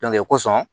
o kosɔn